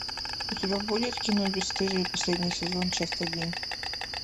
у тебя будет кино бесстыжие последний сезон часть один